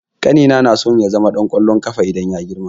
Ƙanina naso ya zama ɗan ƙwallon ƙafa idan ya girma.